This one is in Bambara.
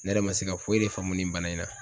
Ne yɛrɛ ma se ka foyi de faamu nin bana in na